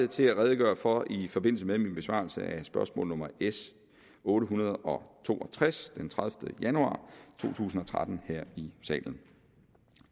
til at redegøre for i forbindelse med min besvarelse af spørgsmål nummer s otte hundrede og to og tres den tredivete januar to tusind og tretten her i salen